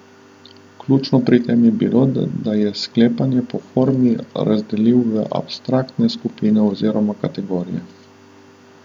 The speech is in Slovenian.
Ključno pri tem je bilo, da je sklepanja po formi razdelil v abstraktne skupine oziroma kategorije.